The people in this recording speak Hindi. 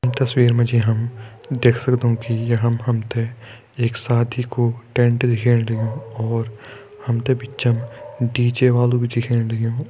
इ तस्वीर मा जी हम देख सक्दु की यखम हम तें एक शादी कु टेंट दिखेण लग्युं और हम तें बिच्चम डी.जे वालू भी दिखेण लग्यूँ।